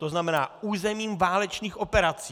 To znamená územím válečných operací.